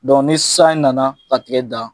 Dɔn ni san in nana ka tigɛ dan